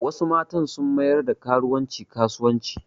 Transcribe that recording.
Wasu matan sun mayar da karuwanci kasuwanci